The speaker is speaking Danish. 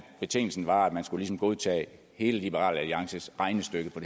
betingelsen var at man skulle godtage hele liberal alliances regnestykke